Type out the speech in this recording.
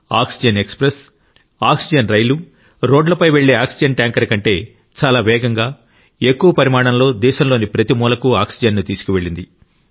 oxygen express oxygen రైలు రోడ్లపై వెళ్ళే ఆక్సిజన్ ట్యాంకర్ కంటే చాలా వేగంగా ఎక్కువ పరిమాణంలో దేశంలోని ప్రతి మూలకు ఆక్సిజన్ను తీసుకువెళ్ళింది